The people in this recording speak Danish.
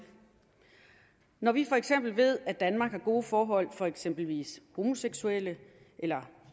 når vi for eksempel ved at danmark har gode forhold for eksempelvis homoseksuelle eller